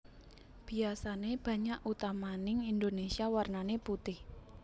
Biasané banyak utamaning Indonésia warnané putih